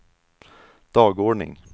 dagordning